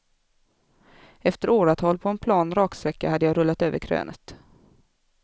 Efter åratal på en plan raksträcka hade jag rullat över krönet.